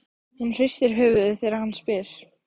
Hún hristir höfuðið þegar hann spyr.